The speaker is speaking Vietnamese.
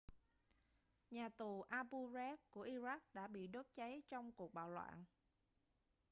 nhà tù abu ghraib của iraq đã bị đốt cháy trong cuộc bạo loạn